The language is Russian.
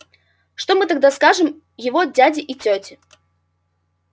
что мы тогда скажем его дяде и тёте